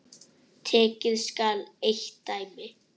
Tekið skal eitt dæmi.